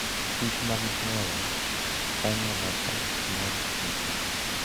kichmag chwoyo konyo e loso mor kich.